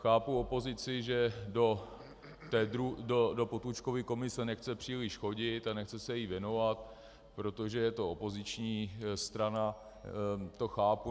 Chápu opozici, že do Potůčkovy komise nechce příliš chodit a nechce se jí věnovat, protože je to opoziční strana, to chápu.